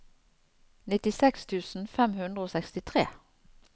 nittiseks tusen fem hundre og sekstitre